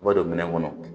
I b'a don minɛn kɔnɔ